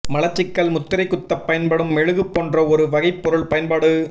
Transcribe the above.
மலச்சிக்கல் முத்திரை குத்த பயன்படும் மெழுகு போன்ற ஒரு வகை பொருள் பயன்பாடு